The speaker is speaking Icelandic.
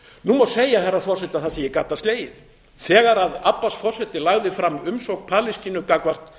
nú má segja herra forseti að það sé í gadda slegið þegar abbas forseti lagði fram umsókn palestínu gagnvart